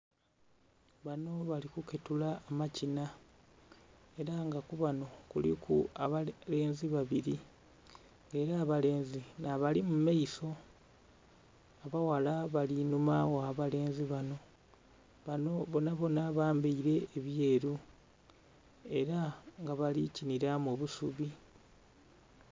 Bano bali kuketula amakina, ela nga ku bano kuliku abalenzi babili. Ng'ela abalenzi nh'abali mu maiso. Abaghala bali inhuma gh'abalenzi bano. Bano bonabona bambaile ebyeru. Ela nga bali kinila mu busubi.